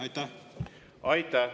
Aitäh!